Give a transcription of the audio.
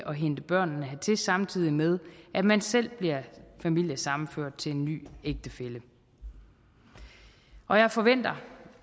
at hente børnene hertil samtidig med at man selv bliver familiesammenført til en ny ægtefælle og jeg forventer